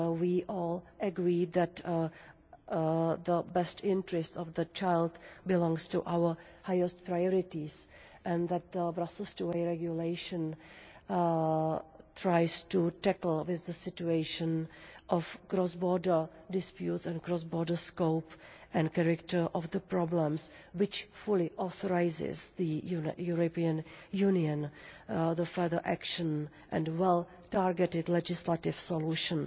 We all agree that the best interest of the child belongs among our highest priorities, and that the Brussels IIa Regulation tries to tackle the situation of cross-border disputes and the cross border scope and character of the problems, which fully authorises the European Union to take further action and well targeted legislative solutions,